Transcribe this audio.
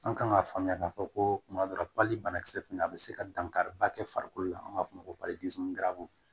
An kan ka faamuya k'a fɔ ko tuma dɔ la banakisɛ fana a bɛ se ka dankari ba kɛ farikolo la an b'a fɔ o ma ko